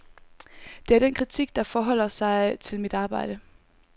Det er den kritik, der forholder sig til mit arbejde.